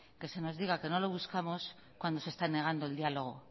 que se nos diga que no los buscamos cuando se esta negando el diálogo